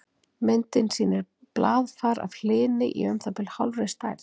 Myndin sýnir blaðfar af hlyni í um það bil hálfri stærð.